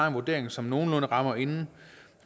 en vurdering som nogenlunde rammer inden